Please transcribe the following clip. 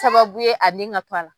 sababu ye a nin ŋa to a la